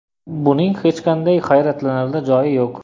Buning hech qanday hayratlanarli joyi yo‘q.